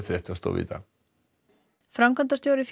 fréttastofu í dag framkvæmdastjóri